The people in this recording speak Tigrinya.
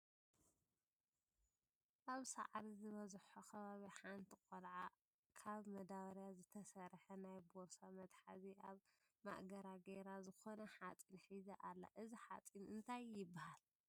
ኣብ ሳዕሪ ዝበዝሖ ከባቢ ሓንቲ ቆልዓ ካብ ማዳበርያ ዘተደርሐ ናይ ቦርሳ መትሓዚ ኣብ ማእገራ ጌራ ዝኮነ ሓፂን ሒዛ ኣላ እዚ ሓፂን እንታይ ይበሃል ?